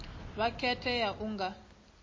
vha khethe u ya nga